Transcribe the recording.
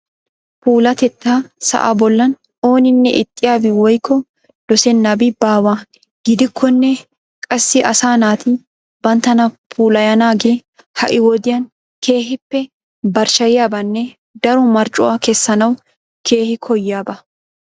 Puulatettaa sa'aa bollan ooninne ixxiyabi woykko dosennabai baawa. Gidikkonne. Qassi asaa naati banttana puulayanaagee. Ha"i wodiyan keehippe barchcheyiyabanne daro marccuwa kessanwu keehi koyiyaba.